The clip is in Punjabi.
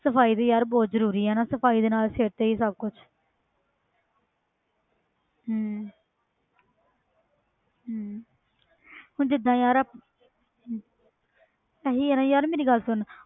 ਸਫ਼ਾਈ ਵੀ ਯਾਰ ਬਹੁਤ ਜ਼ਰੂਰੀ ਹੈ ਨਾ ਸਫ਼ਾਈ ਦੇ ਨਾਲ ਹੀ ਸਭ ਕੁਛ ਹਮ ਹਮ ਹੁਣ ਜਿੱਦਾਂ ਯਾਰ ਇਹੀ ਹੈ ਨਾ ਯਾਰ ਮੇਰੀ ਗੱਲ ਸੁਣ।